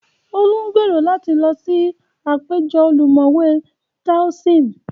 Olú ń gbèrò láti lọ sí àpéjọ ọlọ́mọ̀wé Toaism